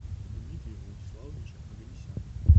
дмитрия владиславовича оганесяна